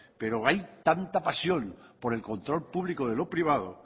pero hay tanta pasión por el control público de lo privado